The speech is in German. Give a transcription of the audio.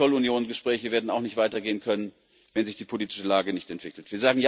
Die Zollunion Gespräche werden auch nicht weitergehen können, wenn sich die politische Lage nicht entwickelt.